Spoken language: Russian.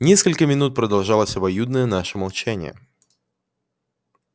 несколько минут продолжалось обоюдное наше молчание